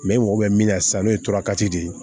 i mago bɛ min na sisan n'o ye tora kati de